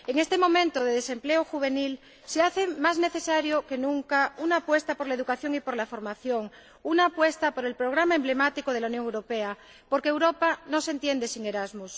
En este momento de desempleo juvenil, se hace más necesaria que nunca una apuesta por la educación y por la formación, una apuesta por el programa emblemático de la Unión Europea, porque Europa no se entiende sin Erasmus.